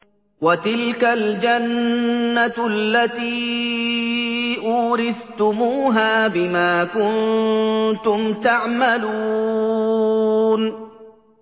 وَتِلْكَ الْجَنَّةُ الَّتِي أُورِثْتُمُوهَا بِمَا كُنتُمْ تَعْمَلُونَ